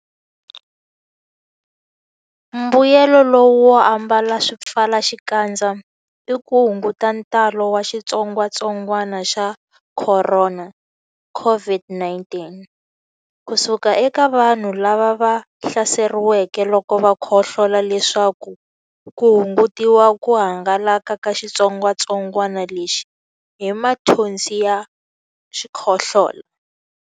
Mbuyelonkulu wo ambala swipfalaxikandza i ku hunguta ntalo wa xitsongwantsongwana xa Khorona, COVID-19, ku suka eka vanhu lava hlaseriweke loko va khohlola leswaku ku hungutiwa ku hangalaka ka xitsongwantsongwana lexi hi mathonsi ya xikhohlola.